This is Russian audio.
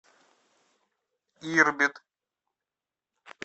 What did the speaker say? ирбит